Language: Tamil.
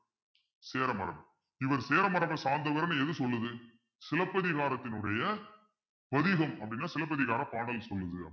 சேர மரபு இவர் சேர மரபை சார்ந்தவர்ன்னு எது சொல்லுது சிலப்பதிகாரத்தினுடைய பதிகம் அப்பிடின்னா சிலப்பதிகார பாடல் சொல்லுது